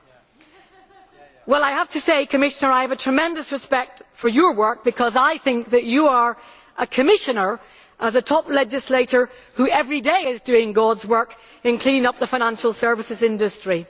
Well, I have to say Commissioner, I have tremendous respect for your work because I think that you are a Commissioner, as a top legislator, who every day is doing God's work in cleaning up the financial services industry.